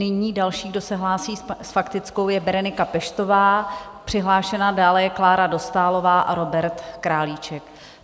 Nyní další, kdo se hlásí s faktickou, je Berenika Peštová, přihlášená, dále je Klára Dostálová a Robert Králíček.